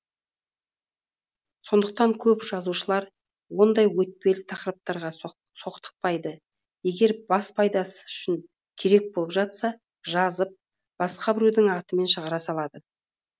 сондықтан көп жазушылар ондай өтпелі тақырыптарға соқтықпайды егер бас пайдасы үшін керек болып жатса жазып басқа біреудің атымен шығара салады